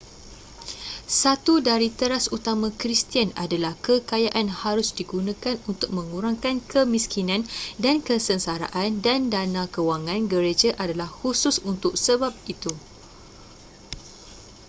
satu dari teras utama kristian adalah kekayaan harus digunakan untuk mengurangkan kemiskinan dan kesengsaraan dan dana kewangan gereja adalah khusus untuk sebab itu